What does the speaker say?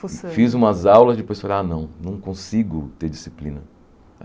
Fiz umas aulas e depois falei, ah, não, não consigo ter disciplina.